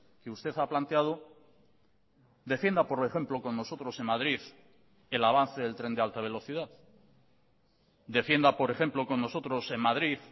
que usted ha planteado defienda por ejemplo con nosotros en madrid el avance del tren de alta velocidad defienda por ejemplo con nosotros en madrid